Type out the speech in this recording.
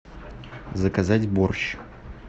заказать борщ